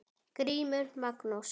GRÍMUR: Magnús!